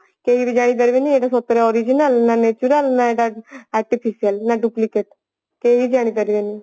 କେହିବି ଜାଣିପାରିବେନି ଏଟା ସତରେ original ନା natural ନା ଏଟା artificial ନା ଏଟା duplicate କେହି ଜାଣିପାରିବେନି